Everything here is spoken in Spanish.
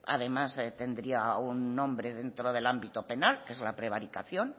además tendría un nombre dentro del ámbito penal que es la prevaricación